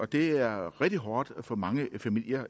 det er rigtig hårdt for mange familier